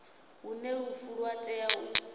hune lufu lwa tea u